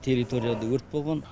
территорияда өрт болған